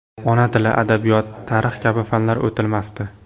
Ona tili, adabiyot, tarix kabi fanlar o‘tilmasdi.